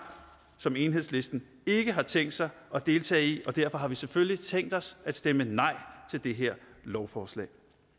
som enhedslisten ikke har tænkt sig at deltage i og derfor har vi selvfølgelig tænkt os at stemme nej til det her lovforslag